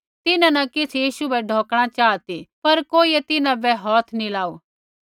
तिन्हां न किछ़ यीशु बै ढौकणा चाहा ती पर कोइयै तिन्हां बै हौथ नी लाऊ